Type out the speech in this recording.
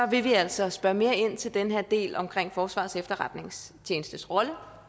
vil vi altså spørge mere ind til den her del om forsvarets efterretningstjenestes rolle